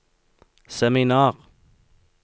seminar